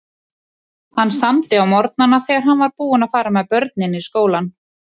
Hann samdi á morgnana þegar hann var búinn að fara með börnin í skólann.